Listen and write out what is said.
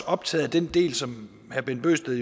optaget af den del som herre bent bøgsted